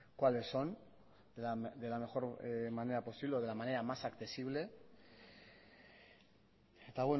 cuáles son de la mejor manera posible o de la manera más accesible eta